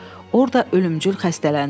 Orda ölümcül xəstələndi.